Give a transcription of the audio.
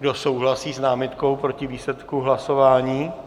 Kdo souhlasí s námitkou proti výsledku hlasování?